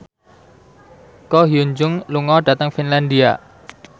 Ko Hyun Jung lunga dhateng Finlandia